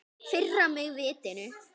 Firra mig vitinu.